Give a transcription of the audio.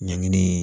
Ɲangini